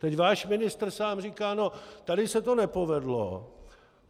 Teď váš ministr sám říká no, tady se to nepovedlo.